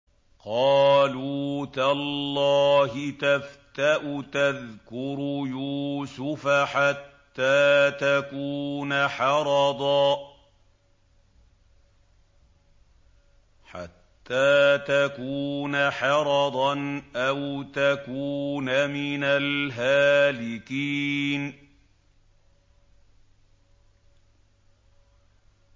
قَالُوا تَاللَّهِ تَفْتَأُ تَذْكُرُ يُوسُفَ حَتَّىٰ تَكُونَ حَرَضًا أَوْ تَكُونَ مِنَ الْهَالِكِينَ